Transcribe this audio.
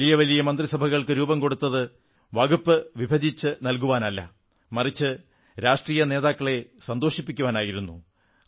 വലിയ വലിയ മന്ത്രിസഭകൾക്ക് രൂപം കൊടുത്തത് വകുപ്പുകൾ വിഭജിച്ചു നല്കുവാനല്ല മറിച്ച് രാഷ്ട്രീയ നേതാക്കളെ സന്തോഷിപ്പിക്കാനായിരുന്നു